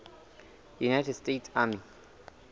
united states army